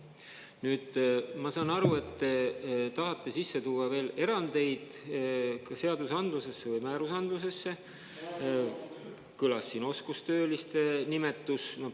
Nüüd, ma saan aru, et te tahate sisse tuua veel erandeid, ka seadusandlusesse või määrusandlusesse, kõlas siin oskustööliste nimetus.